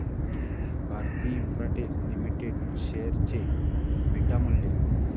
Bharti Infratel limited share चे beta मूल्य